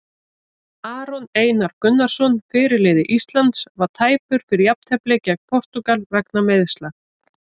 Aron Einar Gunnarsson, fyrirliði Íslands, var tæpur fyrir jafnteflið gegn Portúgal vegna meiðsla.